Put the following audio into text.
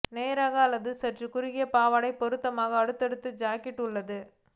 நேராக அல்லது சற்று குறுகிய பாவாடை பொருத்தமான அடுத்தடுத்த ஜாக்கெட் உள்ளது